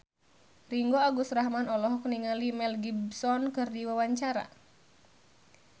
Ringgo Agus Rahman olohok ningali Mel Gibson keur diwawancara